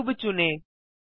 cube चुनें